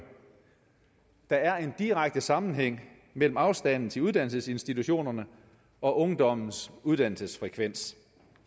der er en direkte sammenhæng mellem afstanden til uddannelsesinstitutionerne og ungdommens uddannelsesfrekvens